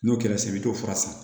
N'o kɛra sisan i bi t'o fura san